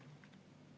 Hea juhataja!